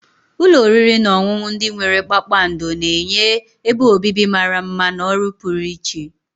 Ụlọ oriri na ọṅụṅụ ndị nwere kpakpando na-enye ebe obibi mara mma na ọrụ pụrụ iche.